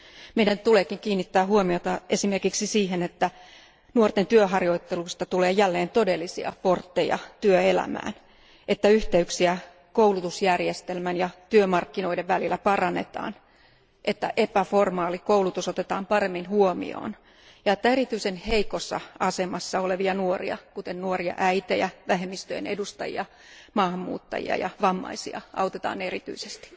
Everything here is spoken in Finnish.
Meidän tuleekin kiinnittää huomiota esimerkiksi siihen, että nuorten työharjoittelusta tulee jälleen todellinen portti työelämään, että yhteyksiä koulutusjärjestelmän ja työmarkkinoiden välillä parannetaan, että epämuodollinen koulutus otetaan paremmin huomioon ja että erityisen heikossa asemassa olevia nuoria, kuten nuoria äitejä, vähemmistöjen edustajia, maahanmuuttajia ja vammaisia, autetaan erityisesti.